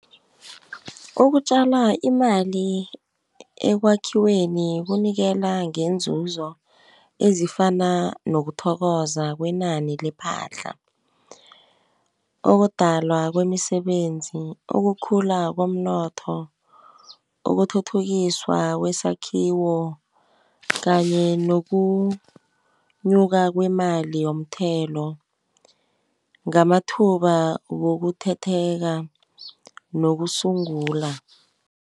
Ukutjala imali ekwakhiweni kunikela ngeenzuzo ezifana nokuthokoza kwenani lephahla. Ukudalwa kwemisebenzi, ukukhula komnotho, ukuthuthukiswa kwesakhiwo kanye nokunyuka kwemali yomthelo, ngamathuba wokuthetheka nokusungula.